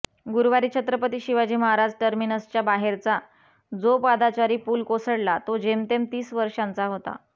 गुरुवारी छत्रपती शिवाजी महाराज टर्मिनसच्या बाहेरचा जो पादचारी पूल कोसळला तो जेमतेम तीस वर्षांचा होता